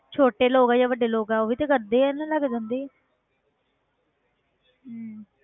ਛੋਟੇ ਲੋਕ ਹੈ ਜਾਂ ਵੱਡੇ ਲੋਕ ਹੈ ਉਹ ਵੀ ਤੇ ਕਰਦੇ ਹੈ ਹਨਾ ਲੈ ਕੇ ਜਾਂਦੇ ਹੀ ਹੈ ਹਮ